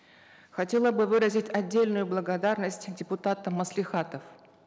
хотела бы выразить отдельную благодарность депутатам маслихатов